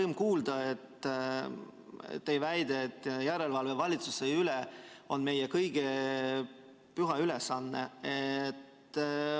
Rõõm kuulda teie väidet, et järelevalve valitsuse üle on meie kõigi püha ülesanne.